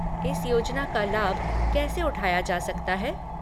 इस योजना का लाभ कैसे उठाया जा सकता है?